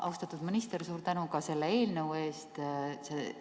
Austatud minister, suur tänu selle eelnõu eest!